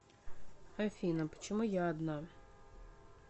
афина почему я одна